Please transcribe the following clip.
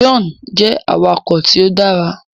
John jẹ awakọ̀ tíó dára.